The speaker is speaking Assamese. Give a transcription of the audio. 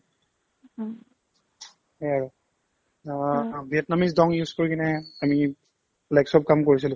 সেয়ে আৰু অ vietnam use কৰি কিনে আমি চব কাম কৰিছিলো